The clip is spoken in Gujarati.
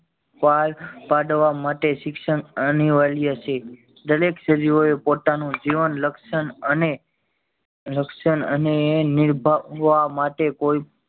પાર પાડવા માટે શિક્ષણ અનિવાર્ય છે દરેક સજીવો એ પોતાનું જીવન લક્ષણ અને લક્ષણ અને નીર્ભ્વવા માટે કોઈ